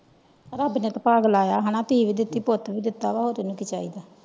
ਰੱਬ ਨੇ ਤੇ ਪੱਗ ਲਾਯਾ ਹੈਨਾ ਦੀਏ ਵੀ ਦਿਤੀ ਪੁੱਟ ਵੀ ਦਿੱਤਾ ਵ ਹੋਰ ਤੈਨੂੰ ਕਿ ਚਾਹੀਦਾ ਵਾ।